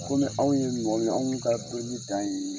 Komi anw ye mɔgɔ mun ye anw ka dɔni dan yeee.